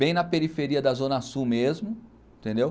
Bem na periferia da Zona Sul mesmo, entendeu?